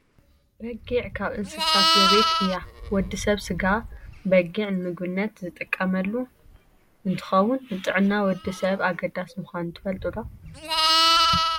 በጊዕ ካብ እንስሳ ዘቤት እያ። ወዲ ሰብ ስጋ በጊዕ ንምግብነት ዝጥቀመሉ እንትከውን ንጥዕና ወዲ ሰብ ኣገዳሲ ምኳኑ ትፈልጡ ዶ ?